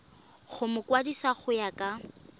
go mokwadise go ya ka